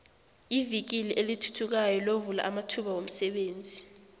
ivikili elithuthukayo lovula amathuba womsebenzi